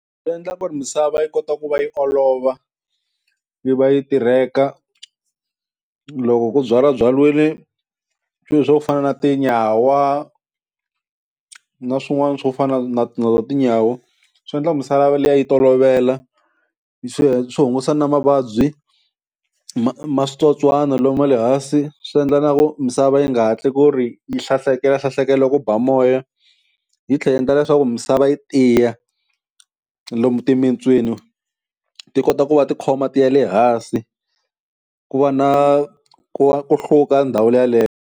Swi endla ku ri misava yi kota ku va yi olova yi va yi tirheka loko ku byalabyariwile swilo swo fana na tinyawa na swin'wana swo fana na na toho tinyawa, swi endla misava liya yi tolovela swi swi hungusa na mavabyi ma ma switsotswana lomu wa le hansi, swi endla na ku misava yi nga hatli ku ri yi hlahlekela hlahlekela loko ku ba moya yi tlhela yi endla leswaku misava yi tiya lomu timitswini ti kota ku va tikhoma ti ya le hansi ku va na ku va ku hluka ndhawu yaleyo.